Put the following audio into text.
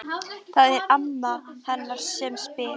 Það er amma hennar sem spyr.